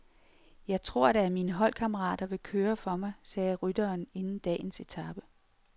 Jeg tror da, at mine holdkammerater vil køre for mig, sagde rytteren inden dagens etape.